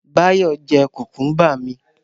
Báyọ̀ jẹ́ kùkúmbà mi